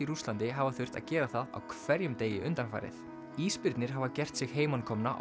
Rússlandi hafa þurft að gera það á hverjum degi undanfarið ísbirnir hafa gert sig heimakomna